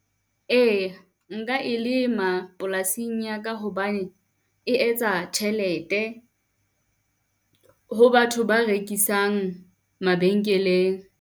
Ee, nka e lema polasing ya ka hobane e etsa tjhelete ho batho ba rekisang mabenkeleng.